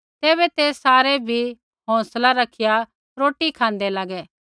तैबै ते सारै बी हौंसलै रखिया रोटी खाँदै लागै